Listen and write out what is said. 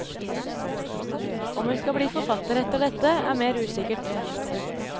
Om hun skal bli forfatter etter dette, er mer usikkert.